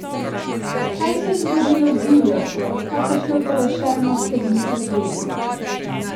Kaj se je zgodilo z divjostjo, kakršne utelešenost ste bili pred leti?